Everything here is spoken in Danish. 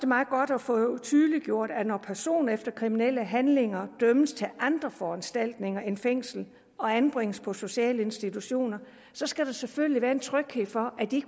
meget godt at få tydeliggjort at når personer efter kriminelle handlinger dømmes til andre foranstaltninger end fængsel og anbringes på sociale institutioner så skal der selvfølgelig være en tryghed for at de